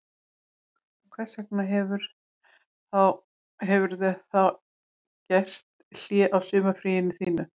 Hvers vegna hefurðu þá gert hlé á sumarfríinu þínu